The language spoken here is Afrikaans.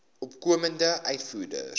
opkomende uitvoerders